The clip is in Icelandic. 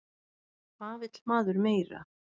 Hvað vill maður meira?